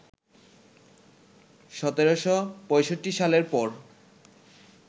১৭৬৫ সালের পর